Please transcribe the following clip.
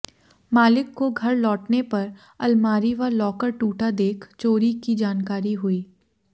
मालिक को घर लौटने पर अलमारी व लॉकर टूटा देख चोरी की जानकारी हुई